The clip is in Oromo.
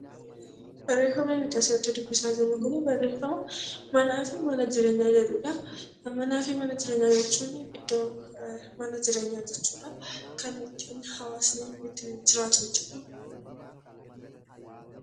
Barreeffamni armaan olitti dubbifnu kun manaa fi mana jireenyaa kan jedhudha. Manaa fi mana jireenyaa jechuun kan hawaasni itti jiraatudha jechuudha.